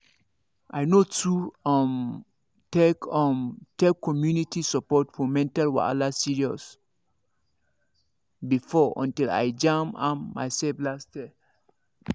i no too um take um take community support for mental wahala serious before until i jam am myself last year